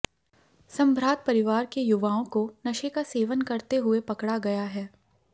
संभ्रात परिवार के युवाओं को नशे का सेवन करते हुए पकड़ा गया है